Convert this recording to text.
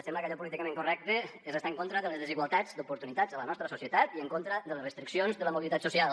sembla que allò políticament correcte és estar en contra de les desigualtats d’oportunitats en la nostra societat i en contra de les restriccions de la mobilitat social